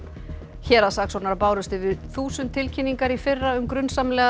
héraðssaksóknara bárust yfir þúsund tilkynningar í fyrra um grunsamlegar